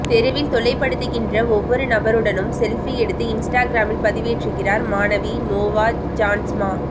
தெருவில் தொல்லைபடுத்துகின்ற ஒவ்வொரு நபருடனும் செல்ஃபி எடுத்து இன்ஸ்டாகிராமில் பதிவேற்றுகிறார் மாணவி நோவா ஜான்ஸ்மா